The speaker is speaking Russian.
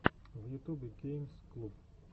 в ютубе геймс клуб